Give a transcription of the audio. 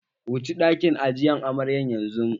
Wuci ɗakin ajiye amaryan yanzu!